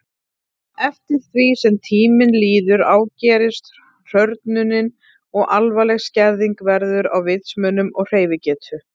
Eftir því sem tíminn líður ágerist hrörnunin og alvarleg skerðing verður á vitsmunum og hreyfigetu.